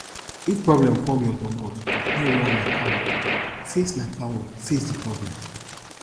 if problem come your domot no run like coward face like coward face di problem